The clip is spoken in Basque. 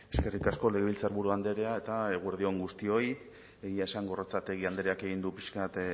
eskerrik asko legebiltzarburu andrea eta eguerdi on guztioi egia esan gorrotxategi andreak egin du pixka bat